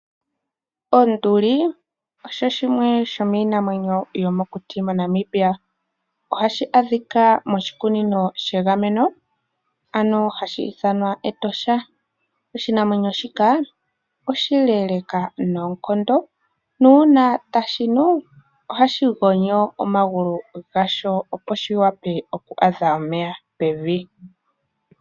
Onduli, osho shimwe shomiinamwenyo yomokuti moNamibia, ohashi adhika moshikunino shegameno ano hashi ithanwa Etosha, oshinamwenyo shika oshileeleka noonkondo nuuna tashi nu, ohashi gonyo omagulu gasho opo shiwape oku adha omeya pevi.